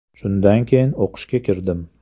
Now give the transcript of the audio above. Shundan keyin o‘qishga kirdim.